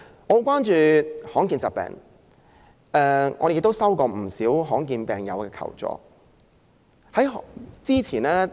我很關注罕見疾病的問題，亦曾接獲不少罕見疾病患者的求助。